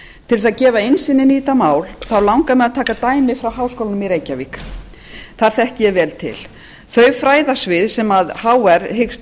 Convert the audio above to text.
til þess að gefa innsýn í þetta mál langar mig að taka dæmi frá háskólanum í reykjavík þar þekki ég vel til þau fræðasvið sem hr hyggst